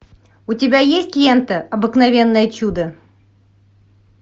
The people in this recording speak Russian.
у тебя есть лента обыкновенное чудо